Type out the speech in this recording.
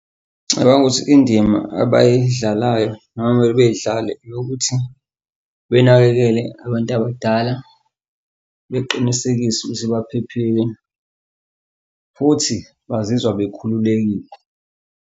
Ngicabanga ukuthi indima abayidlalayo noma mele beyidlale eyokuthi benakekele abantu abadala beqinisekise ukuthi baphephile futhi bazizwa bekhululekile.